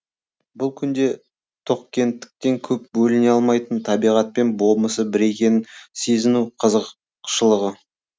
бұл күнде тоқкенттіктен көп бөлене алмайтын табиғатпен болмысы бір екенін сезіну қызықшылығы